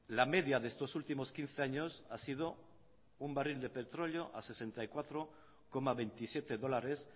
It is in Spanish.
la media de estos últimos quince años ha sido un barril de petróleo a sesenta y cuatro coma veintisiete dólares